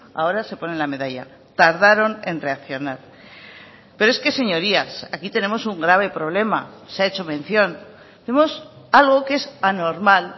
ahora se ponen la medalla tardaron en reaccionar pero es que señorías aquí tenemos un grave problema se ha hecho mención vemos algo que es anormal